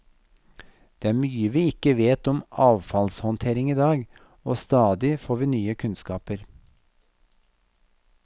Det er mye vi ikke vet om avfallshåndtering i dag, og stadig får vi nye kunnskaper.